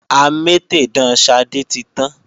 Amétèdán Ṣadé ti tán